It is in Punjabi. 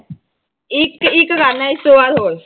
ਇੱਕ ਇੱਕ ਕਰਨਾ ਇਸ ਤੋਂ ਬਾਅਦ ਹੋਰ।